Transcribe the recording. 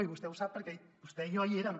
i vostè ho sap perquè vostè i jo hi érem